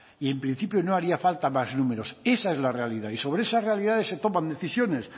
y en principio no harían falta más números esa es la realidad y sobre esas realidades se toman decisiones